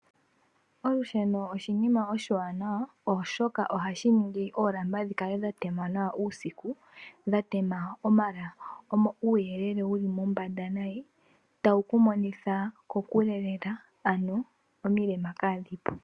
Olusheno oshinima oshiwanawa oshoka ohashiningi oolamba dhikale dhatema nawa uusiku, dhatema uuyelele wuli mombanda nayi, tawuku monitha kokule lela ano omilema kadhi po.